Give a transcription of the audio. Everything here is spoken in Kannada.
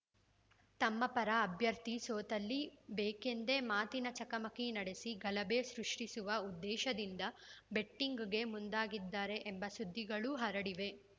ತಮ್ಮ ಪರ ಅಭ್ಯರ್ಥಿ ಸೋತಲ್ಲಿ ಬೇಕೆಂದೇ ಮಾತಿನ ಚಕಮಕಿ ನಡೆಸಿ ಗಲಭೆ ಸೃಷ್ಟಿಸುವ ಉದ್ದೇಶದಿಂದ ಬೆಟ್ಟಿಂಗ್‌ಗೆ ಮುಂದಾಗಿದ್ದಾರೆ ಎಂಬ ಸುದ್ದಿಗಳೂ ಹರಡಿವೆ